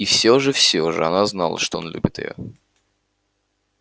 и все же все же она знала что он любит её